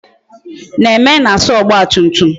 Neme na-asa motorcycle